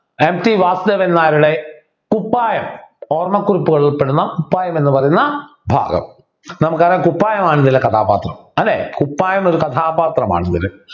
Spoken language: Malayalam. MT വാസുദേവൻ നായരുടെ കുപ്പായം ഓർമ്മക്കുറിപ്പുകളിൽ ഉൾപ്പെടുന്ന കുപ്പായം എന്നു പറയുന്ന ഭാഗം നമുക്ക് അങ്ങനെ കുപ്പായം ആണ് ഇതിലെ കഥാപാത്രം അല്ലെ കുപ്പായം ഒരു കഥാപാത്രമാണ്